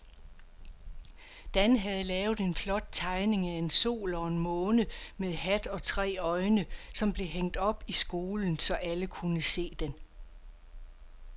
Dan havde lavet en flot tegning af en sol og en måne med hat og tre øjne, som blev hængt op i skolen, så alle kunne se den.